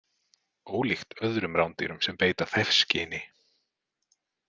Ólíkt öðrum rándýrum sem beita þefskyni.